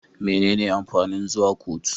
Menene amfanin zuwa kotu?